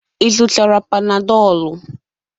Ị zụtara Panadolụ?